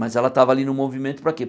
Mas ela estava ali no movimento para quê?